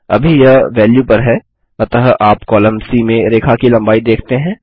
अभी यह वैल्यू पर है अतः आप कॉलम सी में रेखा की लम्बाई देखते हैं